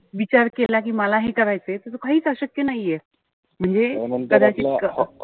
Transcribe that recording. विचार केला कि मला हे करायचंय. तर काहीच अशक्य नाहीये. म्हणजे कदाचित,